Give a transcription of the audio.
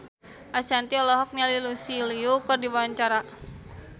Ashanti olohok ningali Lucy Liu keur diwawancara